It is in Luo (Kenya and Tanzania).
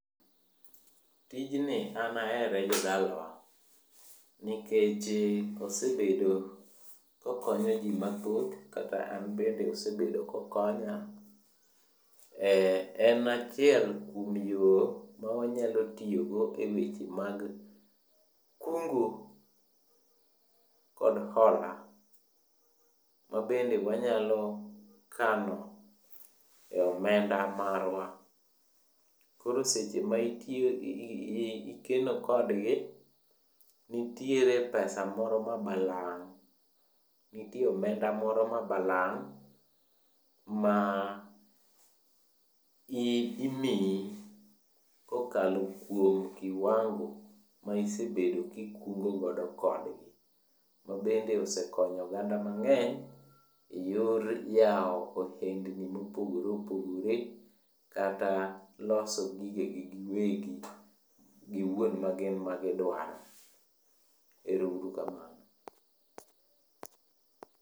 Tijni an ahere jodalawa, nikechi osebedo kokonyo ji mathoth. Kata anbende osebedo kokonya. En achiel kuom yo mawanyalo tiyogo e weche mag kungo kod hola, ma bende wanyalo kano e omenda marwa. Koro seche ma ikeno kodgi, nitiere pesa moro ma balang' ma imiyi kokalo kuom kiwango ma isebedo kikungo godo kodgi. Ma bende osekonyo oganda mang'eny, e yor yawo ohendni mopogore opogore kata loso gigegi giwegi giwuon magin gidwaro. Ero uru kamano.